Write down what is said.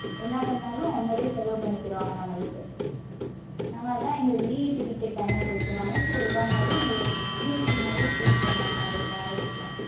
என்ன பண்ணாலும் அவுங்களே சிலவு பண்ணிகிருவங்க நம்மளுக்கு நாங்க அதா எங்களுக்கு VIP ticket தனியா குடுத்துருவாங்க so எதா இருந்தாலும் எங்கள VIP மாரியே treat பண்ணாங்க அந்த travels ல.